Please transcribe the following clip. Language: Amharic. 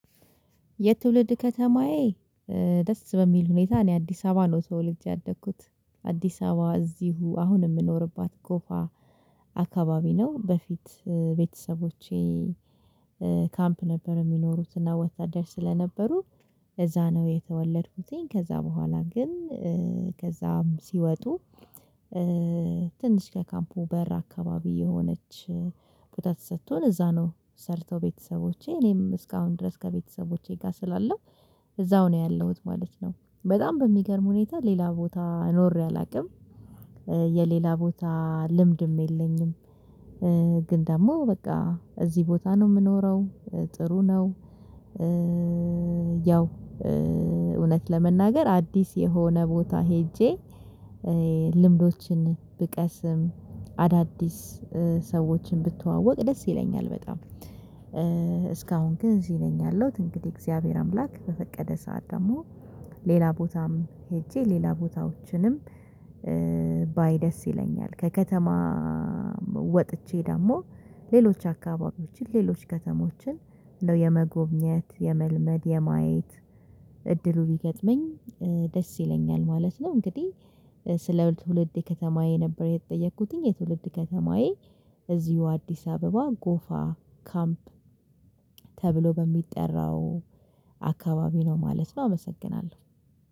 የትውልድ ከተማዬ ደስ በሚል ሁኔታ እኔ አዲስ አበባ ነው ተወልጅ ያደግኩት አዲስ አበባ እዚሁ አሁን የምኖርባት ጎፋ አካባቢ ነው በፊት ቤተሰቦቼ ካምፕ ነበር የሚኖሩት እና ወታደር ስለነበሩ እዛ ነው የተወለድኩትኝ። ከዛ በኋላ ግን ከዛም ሲወጡ ትንሽ ከካምፑ በር አካባቢ የሆነች ቦታ ተሰጥቶን እዛ ነው ሰርተው ቤተሰቦቼ እኔም እስካሁን ድረስ ከቤተሰቦቼ ጋር ስላለው እዛው ነው ያለሁት ማለት ነው በጣም በሚገርም ሁኔታ ሌላ ቦታ ኖሬ አላውቅም የሌላ ቦታ ልምድም የለኝም ግን ደግሞ በቃ እዚህ ቦታ ነው ምኖረው ጥሩ ነው ያው እውነት ለመናገር አዲስ የሆነ ቦታ ሄጄ ልምዶችን ብቀስም አዳዲስ ሰዎችን ብተዋወቅ ደስ ይለኛል በጣም እስካሁን ግን እዚ ነኝ ያለሁት እንግዲህ እግዚአብሔር አምላክ በፈቀደ ሰዓት ደግሞ ሌላ ቦታም ሄጄ ሌላ ቦታዎችንም ባይ ደስ ይለኛል ከከተማ ወጥቼ ደግሞ ሌሎች አካባቢዎችን ሌሎች ከተሞችን እንደው የመጎብኘት የመልመድ የማየት እድሉ ቢገጥመኝ ደስ ይለኛል ማለት ነው። እንግዲህ ስለ ትውልድ ከተማዬ ነበር የተጠየኩትኝ የትውልድ ከተማዬ እዚሁ አዲስ አበባ ጎፋ ካምፕ ተብሎ በሚጠራው አካባቢ ነው ማለት ነው። አመሰግናለሁ!